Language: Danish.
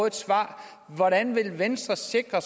et svar hvordan vil venstre sikre